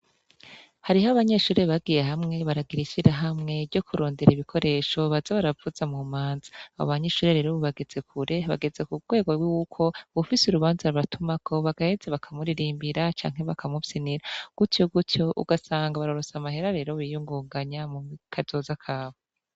Hariho abanyeshurere bagiye hamwe baragiraishira hamwe ryo kurondera ibikoresho baza baravuza mu manza abo banyeishure rerobu bageze kure bageze ku bwego rw'ukwo bufise urubanza rabatumako bagaheze bakamuririmbira canke bakamupsinira gutyo gutyo ugasanga barorosa amahera rero biyunguganya mu kazoza kawe.